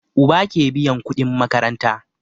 Uba ke biyan kudin makaranta